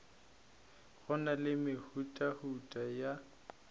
go na le mehutahuta ya